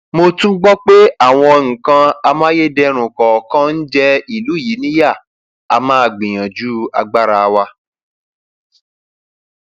mo tún gbọ pé àwọn nǹkan amáyédẹrùn kọọkan ń jẹ ìlú yìí níyà a máa gbìyànjú agbára wa